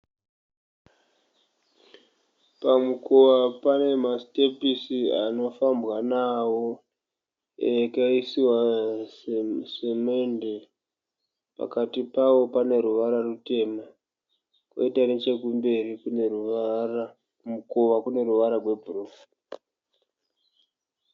Pamukova pane masitepisi anofambwa nawo akaiswa semende. Pakati pawo pane ruvara rutema kwoita nechekumberi kumukova kune ruvara rwebhuruu.